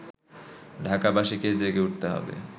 ঢাকাবাসীকে জেগে উঠতে হবে